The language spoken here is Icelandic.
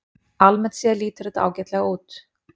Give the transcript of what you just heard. Almennt séð lítur þetta ágætlega út